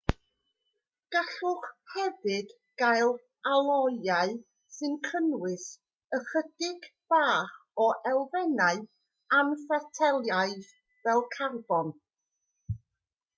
gallwch hefyd gael aloiau sy'n cynnwys ychydig bach o elfennau anfetelaidd fel carbon